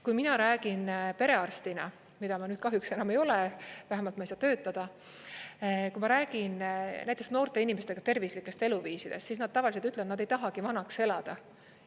Kui mina räägin perearstina, mida ma nüüd kahjuks enam ei ole, vähemalt ma ei saa töötada, kui ma räägin näiteks noorte inimestega tervislikest eluviisidest, siis nad tavaliselt ütlevad, et nad ei tahagi vanaks elada.